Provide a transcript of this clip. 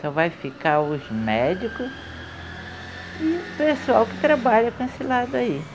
Só vai ficar os médico e o pessoal que trabalha com esse lado aí.